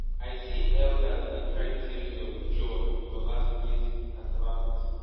i see elders dey cry tears of joy for last year's cassava party